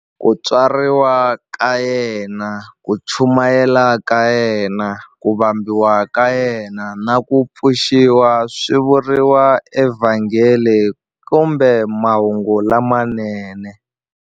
Ku tswariwa ka yena, ku chumayela ka yena, ku vambiwa ka yena, na ku pfuxiwa swi vuriwa eVhangeli kumbe"Mahungu lamanene".